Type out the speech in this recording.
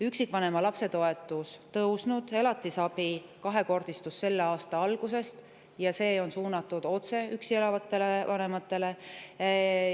Üksikvanema lapse toetus on tõusnud, elatisabi kahekordistus selle aasta alguses ja see on otse suunatud üksi elavatele vanematele.